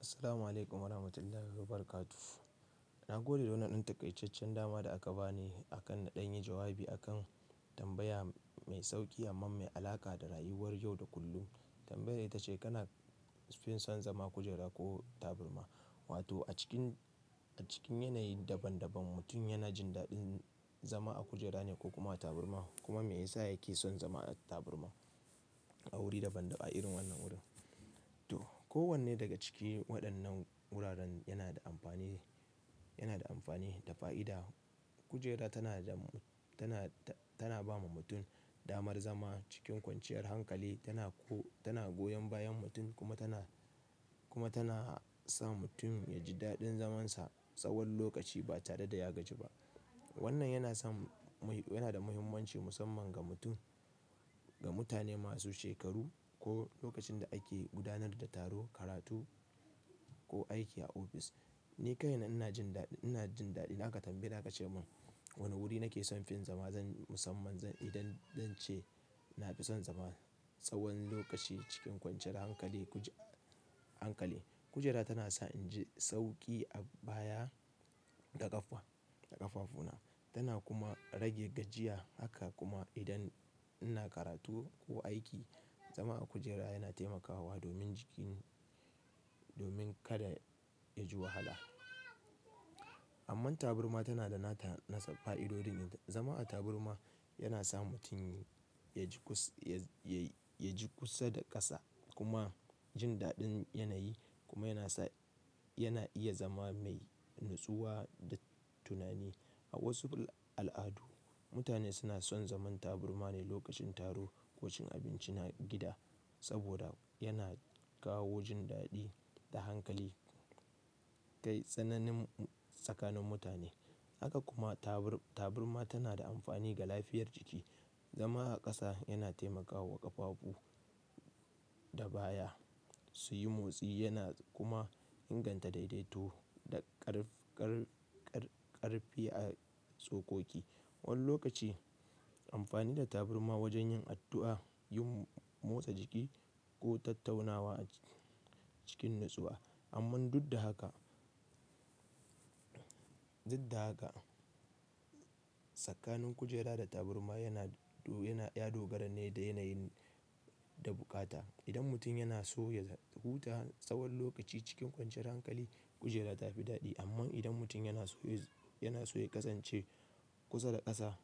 Assalamu alaikum warahmatullahi wabarakatuh. Na gode da wannan dan taƙaitaccen dama da aka bani akan na ɗan yi jawabi akan tambaya mai sauƙi amma mai alaƙa da rayuwar yau da kullum. Tambayar ita ce kana fin son zama kujera ko taburma? Wato a cikin, a cikin yanayi daban-daban mutum yana jin daɗin zama a kujera ne ko kuma tabarma? Kuma me yasa yake son zama a tabarma a wuri daban-daban a irin wannan wurin. To kowanne daga cikin waɗannan wuraren yana da amfani, yana da amfani da fa'ida. Kujera tana da, tana, tana ba ma mutum damar zama cikin kwanciyar hankali, tana ko, tana goyon bayan mutum kuma tana, kuma tana sa mutum ya ji daɗin zamansa tsawon lokaci ba tare da ya gaji ba. Wannan yana son mai, yana da muhimmanci musamman ga mutum, ga mutane masu shekaru ko lokacin da ake gudanar da taro, karatu ko aiki a ofis. Ni kaina ina jin daɗi, ina jin daɗi in aka tambaye aka ce mun wane wuri nake son fin zama zan musamman zan idan zance ina fi son zama tsawon lokaci cikin kwanciyar hankali, kujera, hankali. Kujera tana sa in ji sauƙi a baya da ƙafa, da ƙafafuna. Tana kuma rage gajiya haka kuma idan ina karatu ko aiki, zama a kujera yana taimakawa domin jiki, domin kada yaji wahala. Amma tabarma tana da nata nasu fa'idodin. Zama a taburma yana sa mutum ya ji kusa, ya, ya ji kusa da ƙasa kuma jin daɗin yanayi kuma yana sa, yana iya zama mai natsuwa da tunani. A wasu al'adu mutane suna son zaman taburma ne lokacin taro ko cin abinci na gida saboda yana kawo jin daɗi da hankali, kai tsananin tsakanin mutane. Haka kuma tabur-taburma tana da amfani ga lafiyar jiki. Zama a ƙasa yana taimakawa ƙafafu da baya su yi motsi yana kuma inganta daidaito da ƙar-ƙar-ƙar- ƙarfi a tsokoki. Wani lokaci amfani da taburma wajen yin addu'a, yin motsa jiki ko tattaunawa a cikin natsuwa. Amman duk da haka, duk da haka tsakanin kujera da tabarma yana du, yana ya dogara ne da yanayi da bukata. Idan mutum yana so ya huta tsawon lokaci cikin kwanciyar hankali, kujera ta fi daɗi. Amma idan mutum yana so ya, yana so ya ƙasance kusa da ƙasa,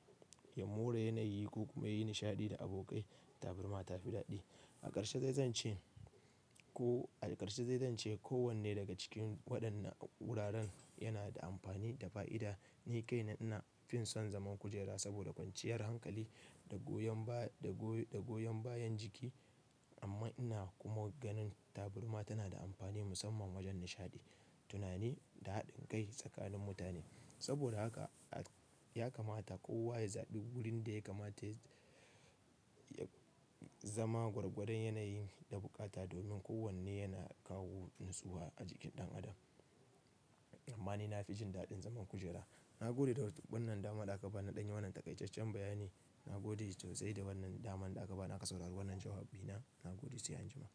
ya more yanayi ko kuma yi nishaɗi da abokai, tabarma ta fi daɗi. A ƙarshe zai zan ce ko a ƙarshe zai zan ce kowanne daga cikin waɗannan wuraren yana da amfani da fa'ida. Ni kaina ina fin son zaman kujera saboda kwanciyar hankali da goyon ba, da goyon bayan jiki. Amma ina kuma ganin taburma tana da amfani musamman wajen nishaɗi, tunani da haɗin kai tsakanin mutane. Saboda haka ya kamata kowa ya zaɓi wurin da ya kamata ya, ya zama gwargwadon yanayi da bukata domin kowanne yana kawo natsuwa a jikin ɗan adam. Amma ni na fi jin daɗin zaman kujera. Na gode da wannan daman da aka bani ɗan yi wannan taƙaitaccen bayani. Na gode sosai da wannan daman da aka bani aka saurari wannan jawabina. Na gode sai anjima.